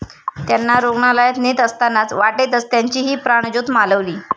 त्यांना रूग्णालयात नेत असतानाच वाटेतच त्यांचीही प्राणज्योत मालवली.